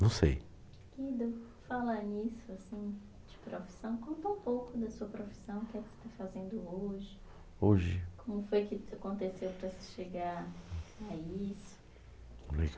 Não sei. Guido, falando nisso assim, de profissão. Conta um pouco da sua profissão, o que é que está fazendo hoje. Hoje? Como foi que isso aconteceu para você chegar a isso?